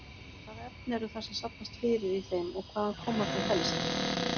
Hvaða efni eru það sem safnast fyrir í þeim og hvaðan koma þau helst?